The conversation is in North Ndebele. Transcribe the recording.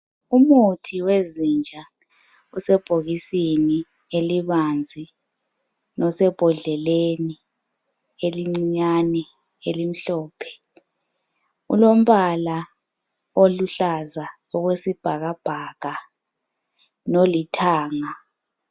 Umuthi wezinja usebhokisini elibanzi, losembodleleni elincinyane elimhlophe. Ulombala oluhlaza okwesibhakabhaka nolithanga.